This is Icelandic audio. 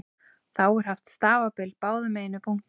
Þá er haft stafbil báðum megin við punktana.